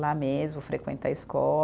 Lá mesmo, frequentar a